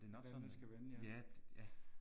Hvordan det skal vende ja